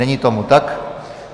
Není tomu tak.